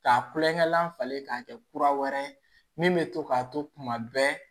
K'a kulonkɛ laban falen k'a kɛ kura wɛrɛ ye min bɛ to k'a to kuma bɛɛ